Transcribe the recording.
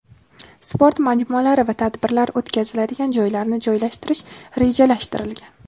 sport majmualari va tadbirlar o‘tkaziladigan joylarni joylashtirish rejalashtirilgan.